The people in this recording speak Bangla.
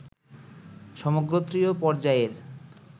সমগোত্রীয় পর্যায়ের